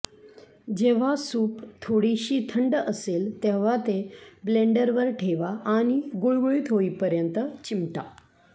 जेव्हा सूप थोडीशी थंड असेल तेव्हा ते ब्लेंडरवर ठेवा आणि गुळगुळीत होईपर्यंत चिमटा